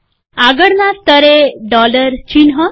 આગળના સ્તરે ડોલર ચિહ્ન